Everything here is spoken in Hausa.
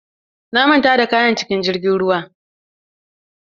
Na manta da kayan cikin jirgin ruwa.